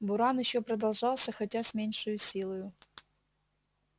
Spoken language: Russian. буран ещё продолжался хотя с меньшею силою